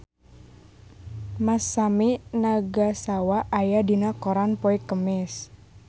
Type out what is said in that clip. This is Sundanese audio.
Masami Nagasawa aya dina koran poe Kemis